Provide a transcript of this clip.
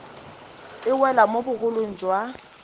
e wela mo bogolong jwa